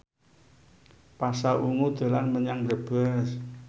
Pasha Ungu dolan menyang Brebes